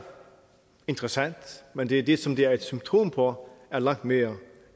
interessant men det det som det er et symptom på er langt mere